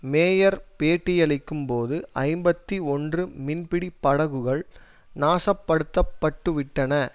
mayor பேட்டியளிக்கும்போது ஐம்பத்தி ஒன்று மீன்பிடி படகுகள் நாசப்படுத்தப்பட்டுவிட்டன